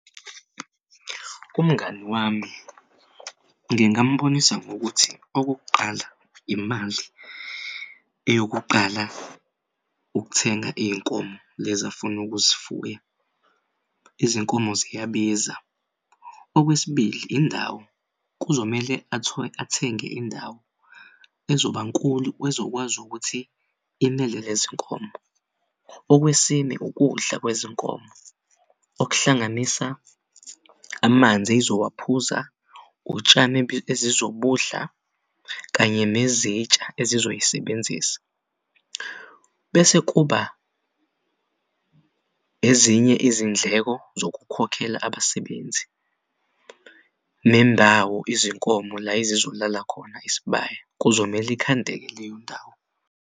Umngani wami ngingambonisa ngokuthi okokuqala imali eyokuqala ukuthenga iy'nkomo lezi afun'ukuzifuya izinkomo ziyabiza. Okwesibili indawo kuzomele athenge indawo ezobankulu ezokwazi ukuthi inele lezinkomo. Okwesine, ukudla kwezinkomo okuhlanganisa amanzi ezowaphuza, utshani ezizobudla kanye nezintsha ezizoyisebenzisa bese kuba ezinye izindleko zokukhokhela abasebenzi nendawo izinkomo la ezizolala khona isibaya kuzomele ikhandeke leyo ndawo.